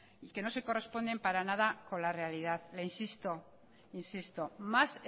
y que no se corresponden para nada con la realidad le insisto más